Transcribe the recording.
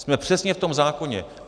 Jsme přesně v tom zákoně.